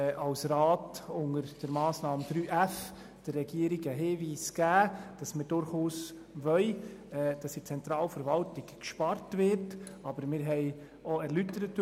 Unter der Massnahme 3.f hat der Rat der Regierung den Hinweis gegeben, dass wir in der Zentralverwaltung durchaus sparen wollen.